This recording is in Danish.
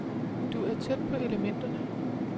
Du er tæt på elementerne.